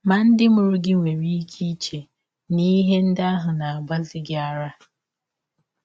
Ma, ndị mụrụ gị nwere ike iche na ihe ndị ahụ na - agbazi gị ara.